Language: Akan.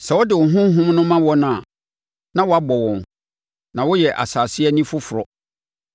Sɛ wode wo Honhom no ma wɔn a na wɔabɔ wɔn, na woyɛ asase ani foforɔ.